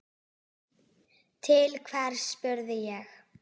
Til hvers, spurði ég.